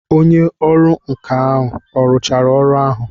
Onye ọrụ nka ọ rụchara ọrụ ahụ?